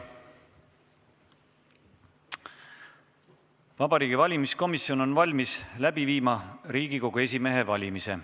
Vabariigi Valimiskomisjon on valmis läbi viima Riigikogu esimehe valimist.